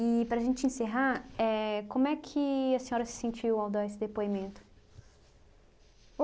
E, para a gente encerrar, éh como é que a senhora se sentiu ao dar esse depoimento?